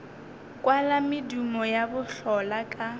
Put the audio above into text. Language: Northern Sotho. kwala medumo ya bohlola ka